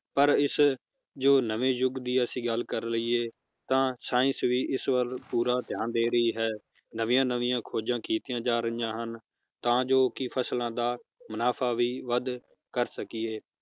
ਪਰ ਇਸ ਜੋ ਨਵੇਂ ਯੁਗ ਦੀ ਅਸੀਂ ਗੱਲ ਕਰ ਲਇਏ ਤਾਂ science ਵੀ ਇਸ ਵੱਲ ਪੂਰਾ ਧਿਆਨ ਦੇ ਰਹੀ ਹੈ ਨਵੀਆਂ ਨਵੀਆਂ ਖੋਜਾਂ ਕੀਤੀਆਂ ਜਾ ਰਹੀਆਂ ਹਨ ਤਾਂ ਜੋ ਕਿ ਫਸਲਾਂ ਦਾ ਮੁਨਾਫ਼ਾ ਵੀ ਵੱਧ ਕਰ ਸਕੀਏ